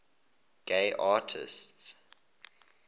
gay artists